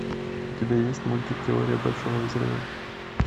у тебя есть мультик теория большого взрыва